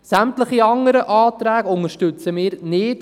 Sämtliche anderen Anträge unterstützen wir nicht.